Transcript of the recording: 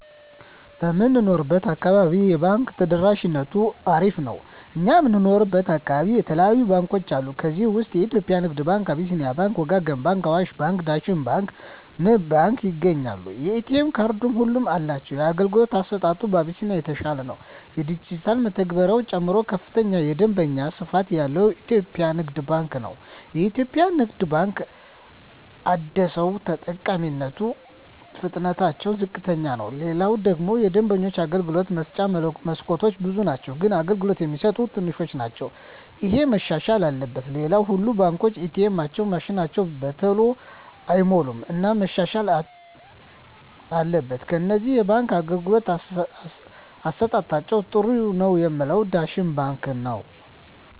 በምንኖረው አካባቢ የባንክ ተደራሽነቱ አሪፍ ነው እኛ የምንኖረው አካባቢ የተለያዩ ባንኮች አሉ ከዚህ ውስጥ የኢትዮጵያ ንግድ ባንክ አቢስኒያ ባንክ ወጋገን ባንክ አዋሽ ባንክ ዳሽን ባንክ ንብ ባንክ ይገኛሉ የኤ.ቴ ካርድ ሁሉም አላቸው የአገልግሎቱ አሰጣጡ አቢስኒያ የተሻለ ነው የዲጅታል መተግበሪያ ጨምሮ ከፍተኛ የደንበኛ ስፋት ያለው ኢትዮጵያ ንግድ ባንክ ነው የኢትዮጵያ ንግድ ባንክ አደሰው ተጠቃሚነቱ ፍጥነትታቸው ዝቅተኛ ነው ሌላው ደግሞ የደንበኞች የአገልግሎት መስጫ መስኮቶች ብዙ ናቸው ግን አገልግሎት የሚሰጡት ትንሾች ናቸው እሄ መሻሻል አለበት ሌላው ሁሉም ባንኮች ኤ. ቴኤማቸው ማሽኖች በተሎ አይሞሉም እና መሻሻል አትበል ከነዚህ የባንክ አገልግሎት አሠጣጣቸዉ ጥሩ ነው ምላቸውን ዳሽን ባንክን ነዉ